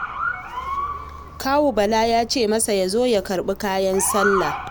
Kawun Bala ya ce masa ya zo ya karɓi kayan sallah